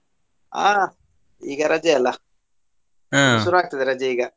ಆ ಈಗ ರಜೆಯಲ್ಲಾ ರಜೆ ಈಗಾ.